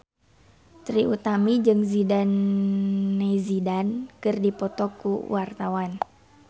Trie Utami jeung Zidane Zidane keur dipoto ku wartawan